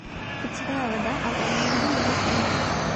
питьевая вода аква минерале ноль пять